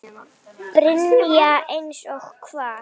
Brynja: Eins og hvað?